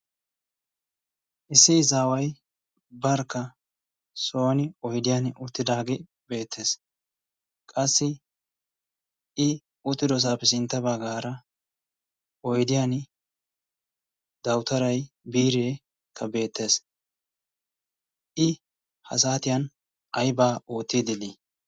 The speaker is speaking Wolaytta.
issi izaaway barkka soni oydiyan uttidaage beeetes, qassi i uttidosaappe sintta bagaara oydiyan dawutaray biire beetees, i ha satiyan ayba ootiidi de'ii?